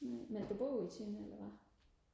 nej men du bor jo i Tønder eller hvad